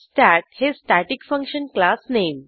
stat हे static function class name